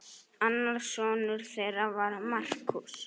Annar sonur þeirra var Markús.